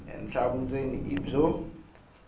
henhla vundzeni i byo